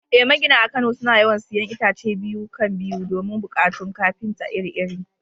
Eh, magina a Kano suna yawan siyan itace biyu-kan-biyu don buƙatun kafinta iri-iri.